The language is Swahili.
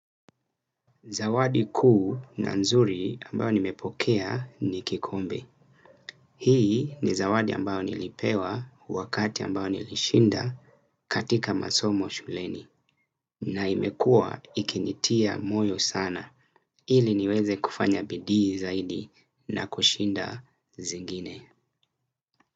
Zawadi kuu na nzuri ambayo nimepokea ni kikombe. Hii ni zawadi ambayo nilipewa wakati ambao nilishinda katika masomo shuleni. Na imekua ikinitia moyo sana. Ili niweze kufanya bidii zaidi na kushinda zingine.